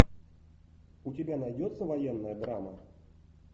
у тебя найдется военная драма